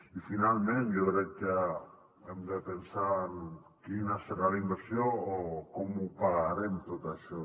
i finalment jo crec que hem de pensar en quina serà la inversió o com ho pagarem tot això